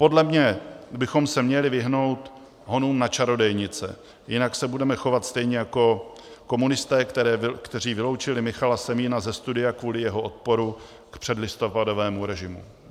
Podle mě bychom se měli vyhnout honům na čarodějnice, jinak se budeme chovat stejně jako komunisté, kteří vyloučili Michala Semína ze studia kvůli jeho odporu k předlistopadovému režimu.